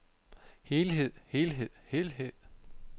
helhed helhed helhed